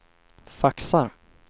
faxar